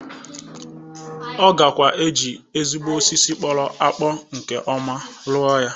Ọ gakwa eji ezigbo osisi kpọrọ akpọ nke ọma rụ ya.